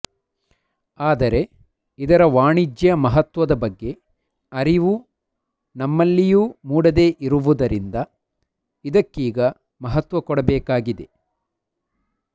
ಆದರೆ ಇದರ ವಾಣಿಜ್ಯ ಮಹತ್ವದ ಬಗ್ಗೆ ಅರಿವು ನಮ್ಮಲ್ಲಿಯೂ ಮೂಡದೆ ಇರುವುದರಿಂದ ಇದಕ್ಕೀಗ ಮಹತ್ವ ಕೊಡಬೇಕಾಗಿದೆ